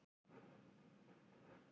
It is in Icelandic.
Hann samdi til tveggja og hálfs árs.